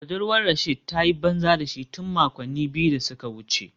Budurwar Rasheed ta yi banza da shi tun makonni biyu da suka wuce